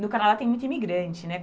No Canadá tem muito imigrante, né?